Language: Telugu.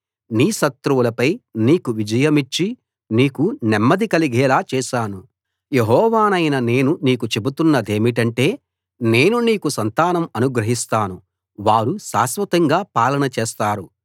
నీ శత్రువులపై నీకు విజయమిచ్చి నీకు నెమ్మది కలిగేలా చేశాను యెహోవానైన నేను నీకు చెబుతున్నదేమిటంటే నేను నీకు సంతానం అనుగ్రహిస్తాను వారు శాశ్వతంగా పాలన చేస్తారు